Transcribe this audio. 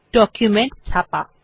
document ছাপা